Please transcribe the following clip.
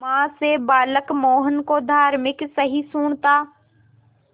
मां से बालक मोहन को धार्मिक सहिष्णुता